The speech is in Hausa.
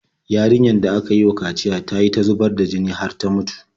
Yarinyar da aka yi wa kaciya ta yi ta zubar da jini har ta mutu.